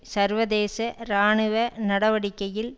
சர்வதேச இராணுவ நடவடிக்கையில்